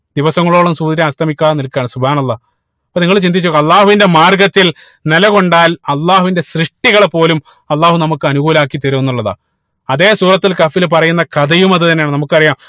ദിവസങ്ങളോളം സൂര്യൻ അസ്തമിക്കാതെ നിൽക്കാണ് അള്ളാഹ് അപ്പൊ നിങ്ങൾ ചിന്തിച്ചു നോക്കുക അള്ളാഹുവിന്റെ മാർഗത്തിൽ നിലകൊണ്ടാൽ അള്ളാഹുവിന്റെ സൃഷ്ടികളെ പോലും അള്ളാഹു നമുക്ക് അനുകൂലാക്കി തരും എന്നുള്ളതാണ് അതേ സൂറത്തുൽ കഹ്ഫിൽ പറയുന്ന കഥയും അത് തന്നെയാണ് നമുക്കറിയാ